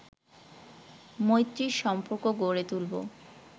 মৈত্রীর সম্পর্ক গড়ে তুলব